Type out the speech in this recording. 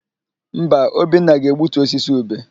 Mba, Obinna ga-egbutu osisi ube.